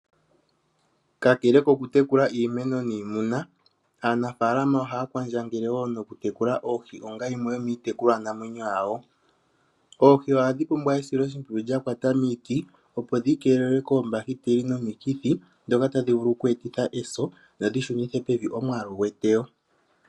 Kakele kokutekula iimeno niimuna, aanafalama ohaya kwandjangele wo nokutekula oohi onga yimwe yomiitekulwanamwenyo yawo. Oohi ohadhi pumbwa esiloshimpwiyu lya kwata miiti opo dhi keelelwe koombakiteli nomikithi, dhoka tadhi vulu okweetitha eso nodhi shunithe pevi omwaalu gweteyo.